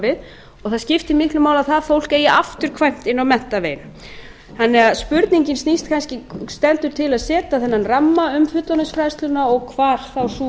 og það skiptir miklu máli að það fólk eigi afturkvæmt inn á menntaveginn spurningin snýst kannski um stendur til að setja þennan ramma um fullorðinsfræðsluna og hvar þá sú